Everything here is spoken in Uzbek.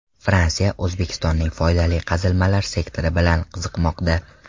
Fransiya O‘zbekistonning foydali qazilmalar sektori bilan qiziqmoqda.